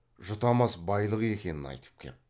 жұтамас байлық екенін айтып кеп